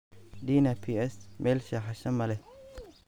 Dina Ps meel seexasha malex.